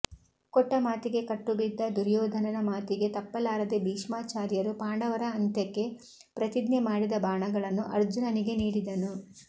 ಕೊಟ್ಟ ಮಾತಿಗೆ ಕಟ್ಟು ಬಿದ್ದ ದುರ್ಯೋಧನ ಮಾತಿಗೆ ತಪ್ಪಲಾರದೆ ಭೀಷ್ಮಾಚಾರ್ಯರು ಪಾಂಡವರ ಅಂತ್ಯಕ್ಕೆ ಪ್ರತಿಜ್ಞೆ ಮಾಡಿದ ಬಾಣಗಳನ್ನು ಅರ್ಜುನನಿಗೆ ನೀಡಿದನು